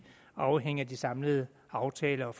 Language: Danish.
afhængige af de samlede aftaler